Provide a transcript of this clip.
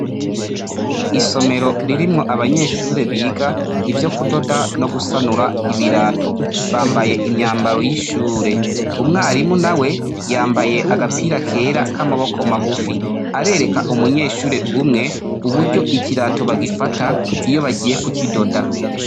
Isomero ririmwo abanyeshure biga ivyo kudoda no gusanura ibirato, bambaye imyambaro y’ishure. Umwarimu nawe yambaye agapira kera ka maboko magufi, arereka umunyeshure umwe uburyo ikirato bagifata iyo bagiye ku kidoda.